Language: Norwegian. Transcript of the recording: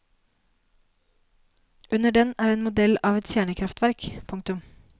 Under den er en modell av et kjernekraftverk. punktum